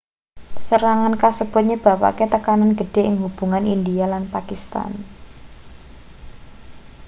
serangan kasebut nyebabake tekanan gedhe ing hubungan india lan pakistan